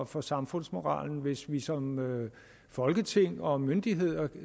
for samfundsmoralen hvis vi som folketing og myndighederne